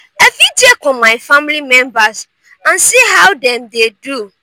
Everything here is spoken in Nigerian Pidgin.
i fit check on my family members and see how dem dey do.